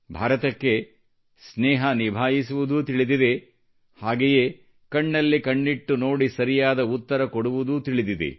ಭಾರತಕ್ಕೆ ಸ್ನೇಹ ನಿಭಾಯಿಸುವುದೂ ತಿಳಿದಿದೆ ಹಾಗೆಯೇ ಕಣ್ಣಲ್ಲಿ ಕಣ್ಣಿಟ್ಟು ನೋಡಿ ಸರಿಯಾದ ಉತ್ತರ ಕೊಡುವುದೂ ತಿಳಿದಿದೆ